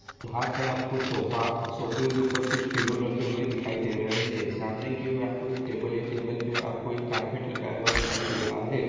यहां पर आपको सोफा सोफे के ऊपर कुछ पिलो रखे हुए दिखाई दे रहे हैं सामने की ओर आपको एक टेबल है टेबल पर आपको एक कारपेट लगा हुआ दिखाई दे रहा है।